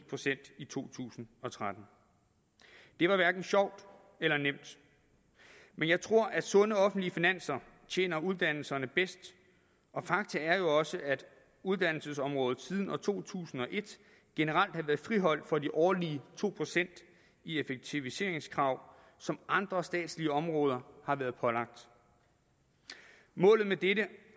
procent i to tusind og tretten det var hverken sjovt eller nemt men jeg tror at sunde offentlige finanser tjener uddannelserne bedst og fakta er jo også at uddannelsesområdet siden to tusind og et generelt har været friholdt for de årlige to procent i effektiviseringskrav som andre statslige områder har været pålagt målet med dette